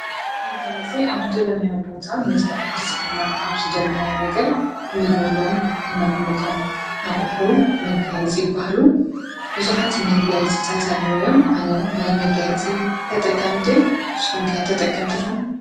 ።መጋይፂ ኣብ ዝደለናዮ ቦታ መልካ ዂስኸልና ኣብ ዝደለናይ ነገር እንገብሮም፣ እነቕምጦም ኣቝሕዉ መጋይፂ በሃሉ ብዙኃት መጋየ ጽታት ኣለዉዮም ኣነ ናይ መጋየጺ ተጠቃሚዶይ ስኹምከያ ተጠቅምትዶሆም?